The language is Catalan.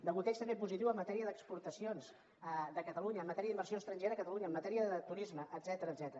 degoteig també positiu en matèria d’exportacions de catalunya en matèria d’inversió estrangera a catalunya en matèria de turisme etcètera